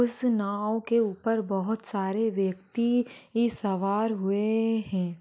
उस नाव के ऊपर बहोत सारे व्यक्ति भी सवार हुए है।